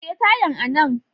Ajiye tayan a nan